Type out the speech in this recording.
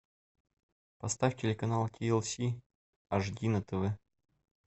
поставь телеканал ти эл си аш ди на тв